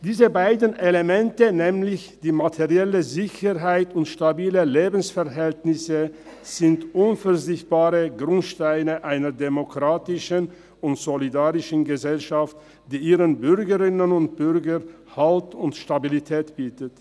Diese beiden Elemente, die materielle Sicherheit sowie stabile Lebensverhältnisse, sind unverzichtbare Grundsteine einer demokratischen und solidarischen Gesellschaft, die ihren Bürgerinnen und Bürgern Halt und Stabilität bietet.